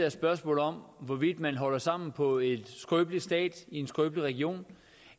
et spørgsmål om hvorvidt man holder sammen på en skrøbelig stat i en skrøbelig region